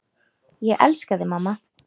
Ég elska þig, mamma.